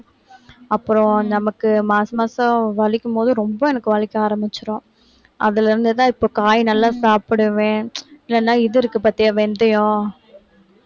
அப்புறம், நமக்கு மாச மாசம் வலிக்கும் போது, ரொம்ப எனக்கு வலிக்க ஆரம்பிச்சுரும். அதுல இருந்து தான், இப்ப காய் நல்லா சாப்பிடுவேன். இல்லைன்னா, இது இருக்கு பார்த்தியா, வெந்தயம்